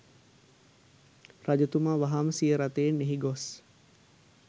රජතුමා වහාම සිය රථයෙන් එහි ගොස්